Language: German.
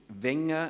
Grossrat Wenger